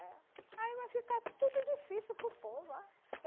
Aí vai ficar tudo difícil para o povo ah